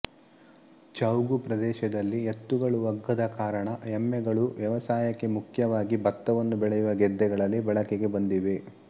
ಚೌಗು ಪ್ರದೇಶದಲ್ಲಿ ಎತ್ತುಗಳೂ ಒಗ್ಗದ ಕಾರಣ ಎಮ್ಮೆಗಳು ವ್ಯವಸಾಯಕ್ಕೆ ಮುಖ್ಯವಾಗಿ ಬತ್ತವನ್ನು ಬೆಳೆಯುವ ಗದ್ದೆಗಳಲ್ಲಿ ಬಳಕೆಗೆ ಬಂದಿವೆ